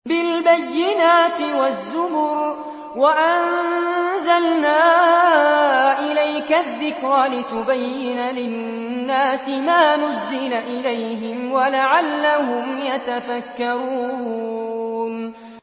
بِالْبَيِّنَاتِ وَالزُّبُرِ ۗ وَأَنزَلْنَا إِلَيْكَ الذِّكْرَ لِتُبَيِّنَ لِلنَّاسِ مَا نُزِّلَ إِلَيْهِمْ وَلَعَلَّهُمْ يَتَفَكَّرُونَ